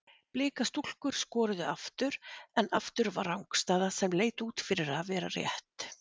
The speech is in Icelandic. Blika stúlkur skoruðu aftur en aftur var rangstæða sem leit út fyrir að vera rétt.